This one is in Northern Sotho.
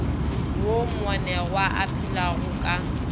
woo moanegwa a phelago ka